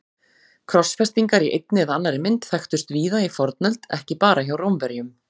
Krossfestingar í einni eða annarri mynd þekktust víða í fornöld, ekki bara hjá Rómverjum.